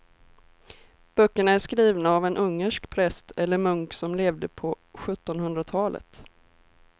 Böckerna är skrivna av en ungersk präst eller munk som levde på sjuttonhundratalet.